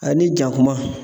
Ani jakuma